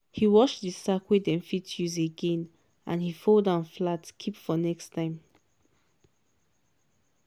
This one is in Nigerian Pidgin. he wash di sack wey dem fit use again and he fold am flat keep for next time.